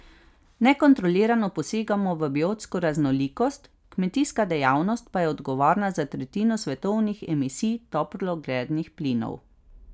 Nekontrolirano posegamo v biotsko raznolikost, kmetijska dejavnost pa je odgovorna za tretjino svetovnih emisij toplogrednih plinov.